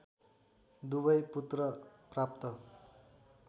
दुबै पुत्र प्राप्त